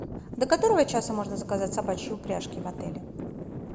до которого часа можно заказать собачьи упряжки в отеле